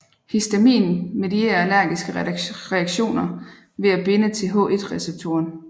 Histamin medierer allergiske reaktioner ved at binde til H1 receptoren